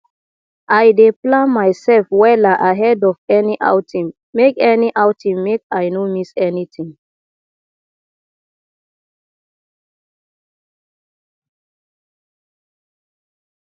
i dey plan mysef wella ahead of any outing make any outing make i no miss anytin